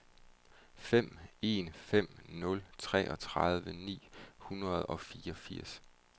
fem en fem nul treogtredive ni hundrede og femogfirs